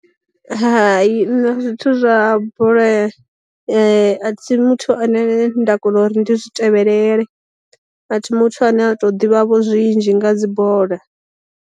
Hai nṋe zwithu zwa bola a thi muthu ane nda kona uri ndi zwi tevhelele, a thi muthu ane a to ḓivha vho zwinzhi nga dzi bola.